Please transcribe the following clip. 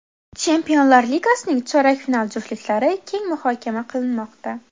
Chempionlar ligasining chorak final juftliklari keng muhokama qilinmoqda.